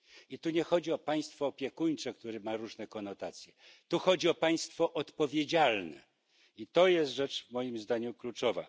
I tu nie chodzi o państwo opiekuńcze, które ma różne konotacje. Tu chodzi o państwo odpowiedzialne i jest to rzecz, moim zdaniem, kluczowa.